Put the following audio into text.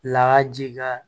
Laa ji ka